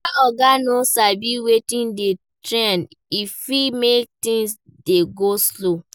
When oga no sabi wetin dey trend e fit make things dey go slow